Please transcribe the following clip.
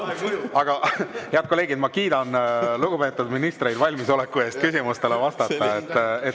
Aga, head kolleegid, ma kiidan lugupeetud ministreid valmisoleku eest küsimustele vastata.